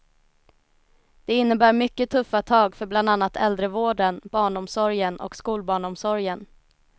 Det innebär mycket tuffa tag för bland annat äldrevården, barnomsorgen och skolbarnomsorgen.